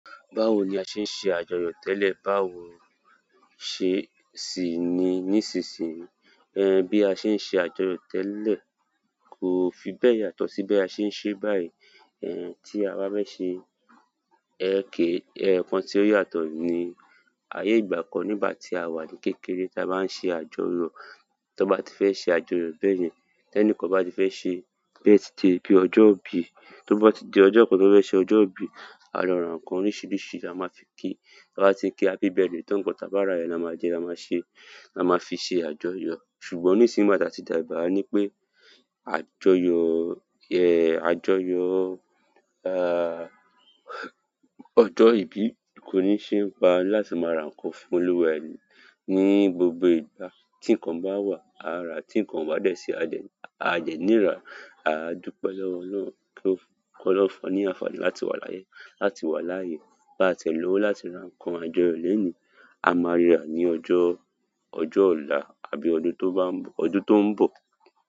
Báwo ni a ṣe ń ṣe àjọyọ̀ tẹ́lẹ̀ báwo ṣe sì ni nísinsìnyí. Bí a ṣe ń ṣe àjọyọ̀ tẹ́lẹ̀ kò fi bẹ́ẹ̀ yàtọ̀ sí bí a ṣe ń ṣe báyìí. Tí a bá fẹ́ ṣe, eyokan ti o yàtọ̀ ní, ayé ìgbà kan nígbà tí àwa ní kékeré tí a bá ń ṣe àjọyọ̀, tó bá ti fẹ́ ṣe àjọyọ̀ bẹ́ẹ̀ yẹn, tẹ́ni kan bá ti fẹ́ ṣe "birthday "bíi ọjọ́ ìbí, tó bá ti di ọjọ́ kan tó fẹ́ ṣe ọjọ́ ìbí, a lo ra nǹkan oríṣiríṣi tí a máa fi kí, ta bá ti kí, happy bírthday tan, nkan tá bá rá yen, lá máa jẹ, lá máa ṣe, lá máa fi ṣe àjọyọ̀. Ṣùgbọ́n nisinyi nígbà ta ti dàgbà, a ni pe, àjọyọ̀, àjọyọ̀ ojo ibi, ko ni se pa ni láti ma ra nǹkan foluwe e ni gbogbo ìgbà tí ǹkan bá wà, a rá, tí ǹkan o bà dẹ̀ sí, a dẹ́, a dẹ́ níì rá, a dùpẹ́ lọ́wọ́ Ọlọ́run kí ó, kọ́ lọ́run fún wa ní àǹfààní láti wà láyé, láti wà láàyè, báa ti ẹ̀ lọ́wọ́ láti ra ǹkan àjọyọ̀ léèní a máa rí rà á ní ọjọ́, ọjọ́ ọ̀la àbí ọdún tó bá, ọdún tó ń bọ̀.